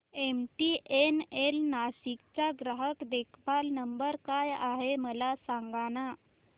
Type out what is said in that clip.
MTNL Nashik चा ग्राहक देखभाल नंबर काय आहे मला सांगाना